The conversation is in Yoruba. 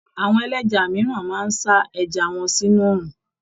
Àwọn ẹlẹ́ja mìíràn máa ń sa ẹja wọn sínú oòrùn.